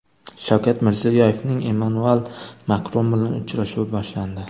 Shavkat Mirziyoyevning Emmanuel Makron bilan uchrashuvi boshlandi.